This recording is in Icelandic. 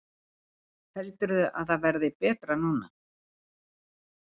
Heldurðu að það verði betra núna?